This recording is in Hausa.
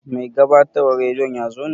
Mai gabatarwan radiyon yazo ne?